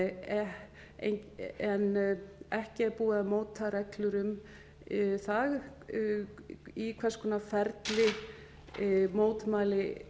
en ekki er búið að móta reglur um það í hvers konar ferli mótmæli